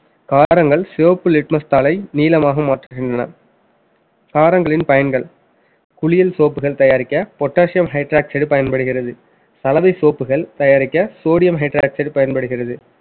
காரங்கள் சிவப்பு litmus தாளை நீலமாக மாற்றுகின்றன காரங்களின் பயன்கள் குளியல் soap கள் தயாரிக்க potassium hydroxide பயன்படுகிறது சலவை soap கள் தயாரிக்க, sodium hydroxide பயன்படுகிறது